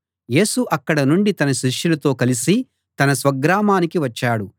యేసు అక్కడ నుండి తన శిష్యులతో కలసి తన స్వగ్రామానికి వచ్చాడు